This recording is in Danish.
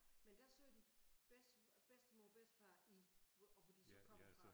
Men der sagde de bedste bedstemor og bedstefar i og hvor de så kom fra